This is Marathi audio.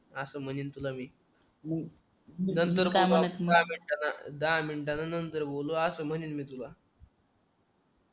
असं म्हणेन तुला मी मग नंतर कामावर दहा मिनिटाच्या दहा मिनिटाच्या नंतर बोलू असं म्हणेन मी तुला अं